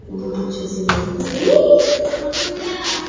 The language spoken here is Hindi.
बहोत अच्छे से बोलता है।